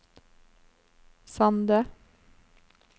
Sande